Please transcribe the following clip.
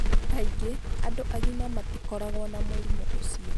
Kaingĩ andũ agima matikoragwo na mũrimũ ũcio.